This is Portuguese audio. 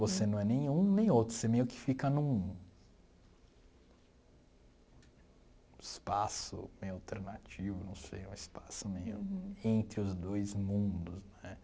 Você não é nem um nem outro, você meio que fica num espaço meio alternativo, não sei, um espaço meio entre os dois mundos, né.